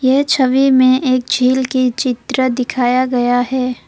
यह छवि में एक झील की चित्र दिखाया गया है।